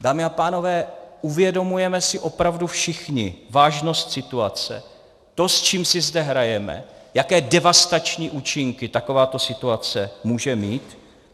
Dámy a pánové, uvědomujeme si opravdu všichni vážnost situace, to, s čím si zde hrajeme, jaké devastační účinky takováto situace může mít?